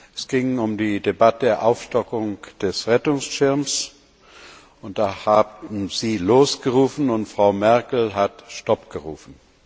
Es ging um die Debatte der Aufstockung des Rettungsschirms, und da haben Sie Los gerufen und Frau Merkel hat Stopp gerufen.